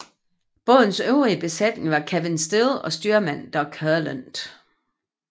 Bådens øvrige besætning var Kevin Still og styrmand Doug Herland